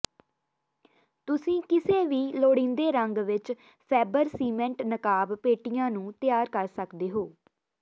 ਤੁਸੀਂ ਕਿਸੇ ਵੀ ਲੋੜੀਂਦੇ ਰੰਗ ਵਿੱਚ ਫੈਬਰ ਸੀਮੇਂਟ ਨਕਾਬ ਪੇਟੀਆਂ ਨੂੰ ਤਿਆਰ ਕਰ ਸਕਦੇ ਹੋ